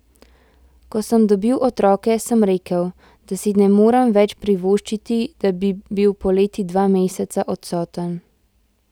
Ko sem dobil otroke, sem rekel, da si ne morem več privoščiti, da bi bil poleti dva meseca odstoten.